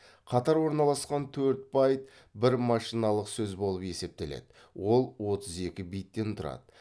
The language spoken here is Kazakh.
қатар орналасқан төрт байт бір машиналық сөз болып есептеледі ол отыз екі биттен тұрады